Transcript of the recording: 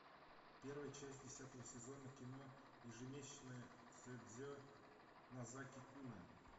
первая часть десятого сезона кино ежемесячное седзе нозаки куна